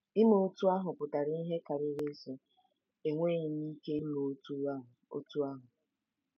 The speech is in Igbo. Ime otú ahụ pụtara ihe karịrị ịsị, " Enweghị m ike ime otú ahụ ." otú ahụ ."